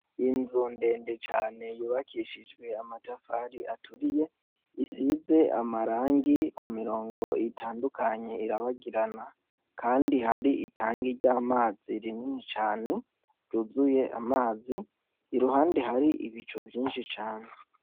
Inzu ndende cane yubakishijwe amatafari aturiye isize amarangi ku mirongo itandukanye irabagirana, kandi hari itangi ry'amazi rinini cane ryuzuye amazi iruhande hari ibicu vyinshi cane.